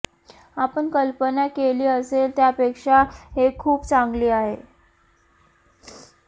आपण कल्पना केली असेल त्यापेक्षा हे खूप चांगले आहे